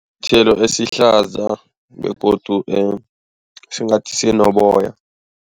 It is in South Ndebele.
Sithelo esihlaza begodu singathi sinoboya.